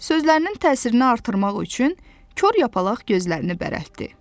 Sözlərinin təsirini artırmaq üçün kor yapalaq gözlərini bərəltdi.